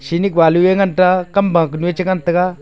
chinik balu yenganta kamba chengan taga.